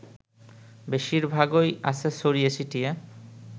বেশিরভাগই আছে ছড়িয়ে ছিটিয়ে